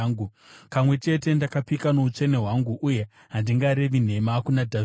Kamwe chete, ndakapika noutsvene hwangu, uye handingarevi nhema kuna Dhavhidhi,